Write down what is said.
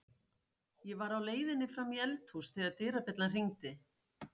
Ég var á leiðinni fram í eldhús þegar dyrabjallan hringdi.